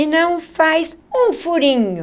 E não faz um furinho.